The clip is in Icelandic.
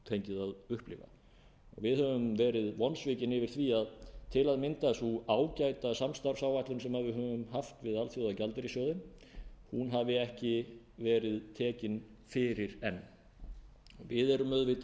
fengið að upplifa við höfum verið vonsvikin yfir því að til að mynda sú ágæta samstarfsáætlun sem við höfum haft við alþjóðagjaldeyrissjóðinn hafi ekki verið tekin fyrir enn við erum auðvitað